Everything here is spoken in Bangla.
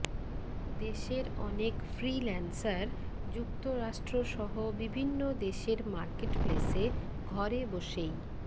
দেশের অনেক ফ্রিল্যান্সার যুক্তরাষ্ট্রসহ বিভিন্ন দেশের মার্কেটপ্লেসে ঘরে বসেই